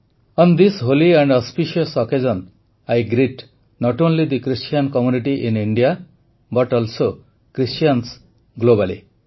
on this holy and auspicious occasion I greet not only the Christian community in India but also Christians globally